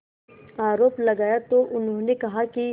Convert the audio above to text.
आरोप लगाया तो उन्होंने कहा कि